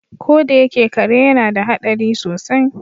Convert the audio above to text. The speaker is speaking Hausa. Ko da yake kare yana da hadari sosai.